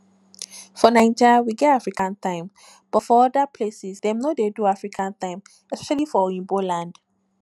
for naija we get african time but for oda places dem no dey do african time especially for oyiba land